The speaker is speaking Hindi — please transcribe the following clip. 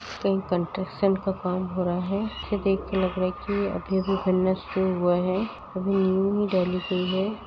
कहीं कंस्ट्रक्शन का काम हो रहा है। इसे देख कर लग रहा है कि अभी-अभी बनना शुरू हुआ है। अभी नींव ही डाली गई है।